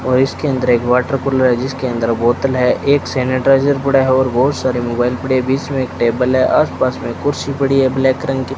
और इसके अंदर एक वाटर कूलर है जिसके अंदर बोतल है एक सैनिटाइजर पड़ा है और बहुत सारे मोबाइल पड़े बीच में एक टेबल है आस-पास में कुर्सी पड़ी है ब्लैक रंग की।